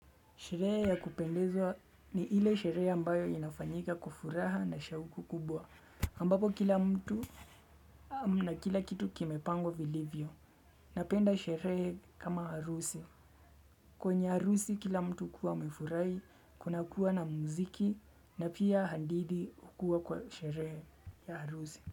Sherehe ya kupendezwa ni ile sherehe ambayo inafanyika kwa furaha na shauku kubwa. Ambapo kila mtu na kila kitu kimepangwa vilivyo. Napenda sherehe kama harusi. Kwenye harusi kila mtu hukuwa amefurahi, kunakuwa na muziki na pia hadith hukua kwa sherehe ya harusi.